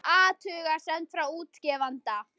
Athugasemd frá útgefanda